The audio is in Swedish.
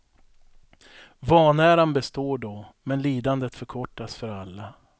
Vanäran består då, men lidandet förkortas för alla.